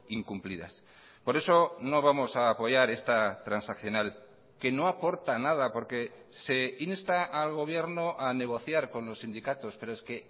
incumplidas por eso no vamos a apoyar esta transaccional que no aporta nada porque se insta al gobierno a negociar con los sindicatos pero es que